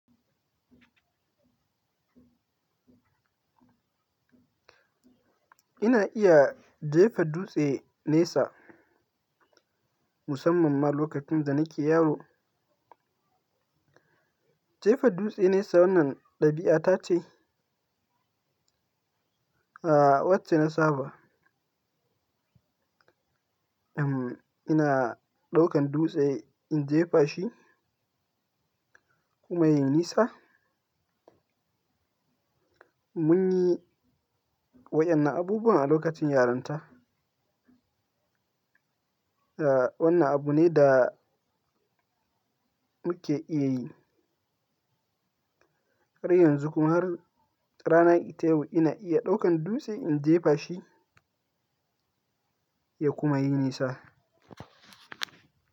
Ina iya jefa dutse nesa musamman ma lokacin da nake yaro. Jefa dutse nesa wannan ɗabi'a ta ce, a wacce na saba, ina ɗaukan dutse in jefa shi kuma ya yi nesa. Mun yi waɗannan abubuwa a lokacin yaranta. A wannan abu ne da muke iya yi. Har yanzu kuma har rana ita yau ina iya ɗaukan dutse in jefa shi ya kuma yi nesa.